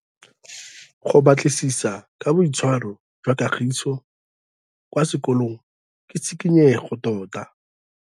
Go batlisisa ka boitshwaro jwa Kagiso kwa sekolong ke tshikinyêgô tota.